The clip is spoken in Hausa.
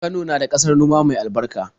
Kano na da ƙasar noma mai albarka.